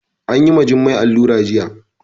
Anyi wa Jummai allura jiya